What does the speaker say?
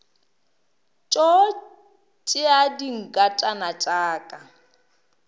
tšo tšea dinkatana tša ka